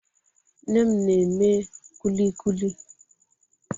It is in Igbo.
Nne m na-eme kulikuli